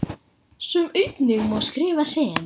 sem einnig má skrifa sem